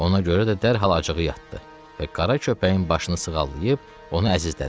Ona görə də dərhal acığı yatdı və qara köpəyin başını sığallayıb onu əzizlədi.